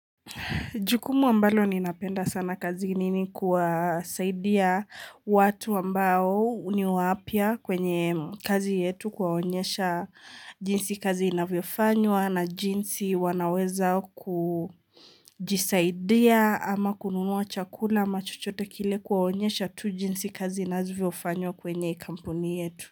Jukumu ambalo ni napenda sana kazini ni kuwasaidia watu ambao niwapya kwenye kazi yetu kuwaonyesha jinsi kazi inavyofanywa na jinsi wanaweza kujisaidia ama kununua chakula ama chuchote kile kuwaonyesha tu jinsi kazi inavyofanywa kwenye kampuni yetu.